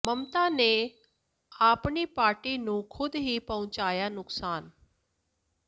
ਮਮਤਾ ਨੇ ਆਪਣੀ ਪਾਰਟੀ ਨੂੰ ਖੁਦ ਹੀ ਪਹੁੰਚਾਇਆ ਨੁਕਸਾਨ